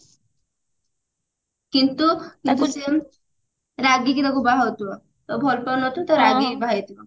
କିନ୍ତୁ ତାଙ୍କୁ ସିଏ ରାଗିକି ତାକୁ ବାହାହେଇଥିବ ତ ଭଲ ପାଉନଥିବ ରାଗିକି ବାହାହେଇଥିବ